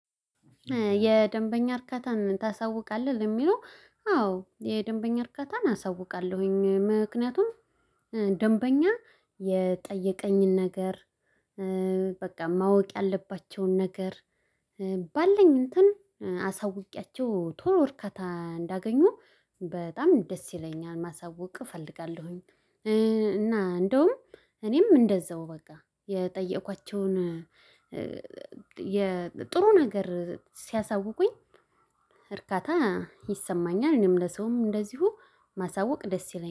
የደንበኛ እርካታን ታሳውቃለህ? የሚለው አዎ የደንበኛ እርከታን አሳውቃለሁኝ ምክንያቱም ደንበኛ የጠየቀኝን ነገር በቃ ማወቅ ያለባቸውን ነገር ባለኝ እንትን አሳውቄያቸው ቶሎ እርካታ እንዳገኙ በጣም ደስ ይለኛል። ማሳወቅ እፈልጋለሁኝ እና እንደውም እኔም እንደዛው በቃ የጠየኳቸውን ጥሩ ነገር ሲያሳውቁኝ እርካታ ይሰማኛል። እኔም ለሰውም እንደዚሁ ማሳወቅ ደስ ይለኛል